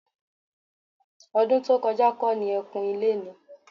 Ọdún tó kọjá kọ́ ni ẹ́ kun ilé ni?